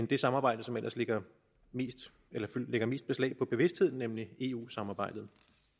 det samarbejde som ellers ligger mest ligger mest beslag på bevidstheden nemlig eu samarbejdet